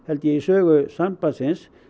í sögu sambandsins